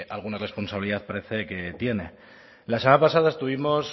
alguna responsabilidad parece que tiene la semana pasada estuvimos